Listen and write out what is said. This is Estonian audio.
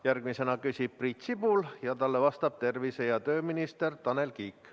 Järgmisena küsib Priit Sibul ja talle vastab tervise- ja tööminister Tanel Kiik.